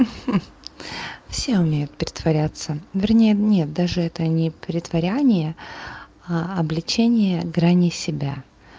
все умеют притворяться вернее нет даже это не претворение обличение грани себя